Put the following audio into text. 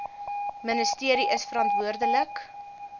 ministerie is verantwoordelik